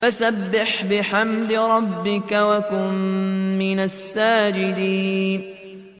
فَسَبِّحْ بِحَمْدِ رَبِّكَ وَكُن مِّنَ السَّاجِدِينَ